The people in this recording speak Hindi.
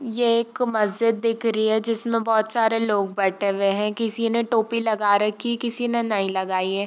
ये एक मस्जिद दिख रही है जिसमे बोहोत सारे लोग बैठे हुए है किसी ने टोपी लगा रखी किसी ने नहीं लगायी है।